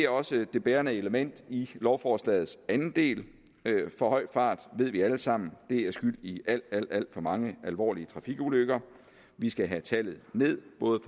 også det bærende element i lovforslagets anden del for høj fart ved vi alle sammen er skyldig i alt alt for mange alvorlige trafikulykker vi skal have tallet ned både